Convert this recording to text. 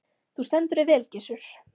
Þú stendur þig vel, Gissur!